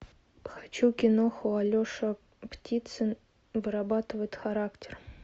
хочу киноху алеша птицын вырабатывает характер